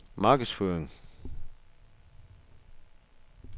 markedsføring